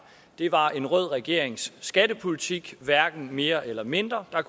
det var en rød regerings skattepolitik hverken mere eller mindre og at